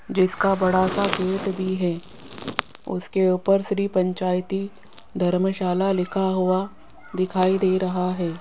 जिसका बड़ा सा गेट भी है उसके ऊपर श्री पंचायती धर्मशाला लिखा हुआ दिखाई दे रहा है।